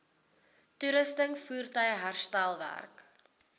toerusting voertuie herstelwerk